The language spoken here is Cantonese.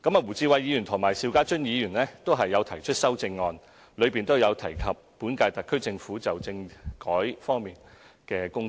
胡志偉議員和邵家臻議員的修正案均有提及本屆特區政府就政制發展方面的工作。